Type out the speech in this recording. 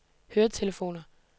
høretelefoner